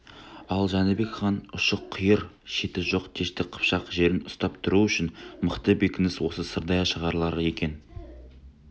ал жәнібек хан ұшы-қиыр шеті жоқ дәшті қыпшақ жерін ұстап тұру үшін мықты бекініс осы сырдария шаһарлары екенін